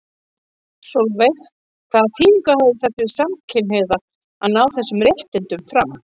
Sólveig: Hvaða þýðingu hefði það fyrir samkynhneigða að ná þessum réttindum fram?